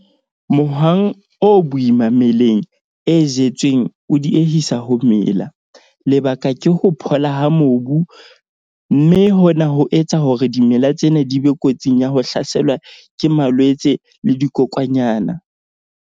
Mohwang o boima meleng e jetsweng o diehisa ho mela. Lebaka ke ho phola ha mobu, mme hona ho etsa hore dimela tsena di be kotsing ya ho hlaselwa ke malwetse le dikokwanyana.